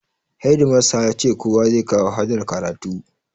Hedimasta yace kowa zai kawo hadar karatu